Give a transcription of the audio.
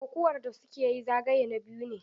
Kokuwar da su ke yi zagaye na biyu ne.